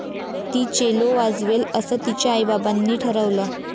ती चेलो वाजवेल असं तिच्या आईबाबांनी ठरवलं.